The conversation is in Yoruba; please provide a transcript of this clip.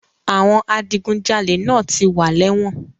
Àwọn adigunjalè náà ti wà lẹ́wọ̀n.